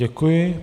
Děkuji.